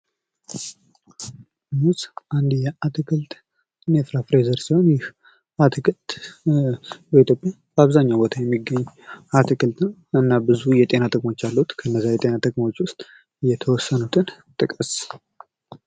ሙዝ አንድ የአትክልትና ፍራፍሬ ዘር ሲሆን ይህ አትክልት በኢትዮጵያ በአብዛኛው ቦታ የሚገኝ አትክልት ነው አና ብዙ የጤና ጥቅሞች አሉት። ከእነዚያ የጤና ጥቅሞች ውስጥ የተወሰኑትን ጥቀስ።